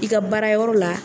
I ka baarayɔrɔ la